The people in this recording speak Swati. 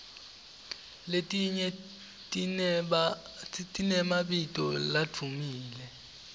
letinye tinemabito ladvumile